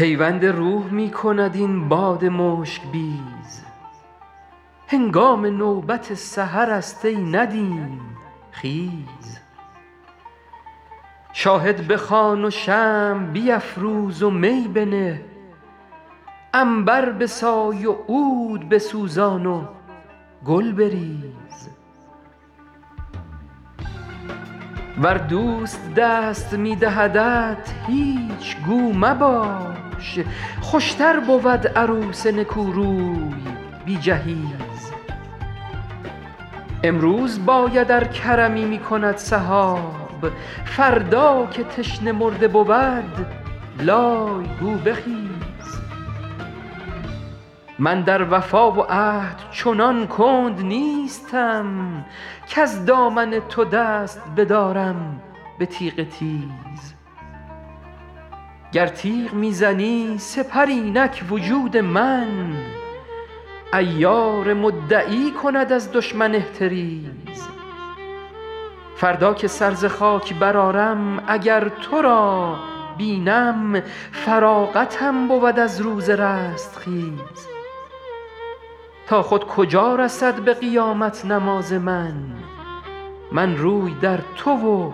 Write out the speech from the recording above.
پیوند روح می کند این باد مشک بیز هنگام نوبت سحرست ای ندیم خیز شاهد بخوان و شمع بیفروز و می بنه عنبر بسای و عود بسوزان و گل بریز ور دوست دست می دهدت هیچ گو مباش خوشتر بود عروس نکوروی بی جهیز امروز باید ار کرمی می کند سحاب فردا که تشنه مرده بود لای گو بخیز من در وفا و عهد چنان کند نیستم کز دامن تو دست بدارم به تیغ تیز گر تیغ می زنی سپر اینک وجود من عیار مدعی کند از دشمن احتریز فردا که سر ز خاک برآرم اگر تو را بینم فراغتم بود از روز رستخیز تا خود کجا رسد به قیامت نماز من من روی در تو و